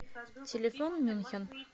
телефон мюнхен